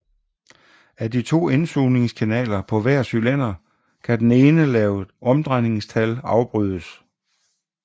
Af de to indsugningskanaler på hver cylinder kan den ene ved lave omdrejningstal afbrydes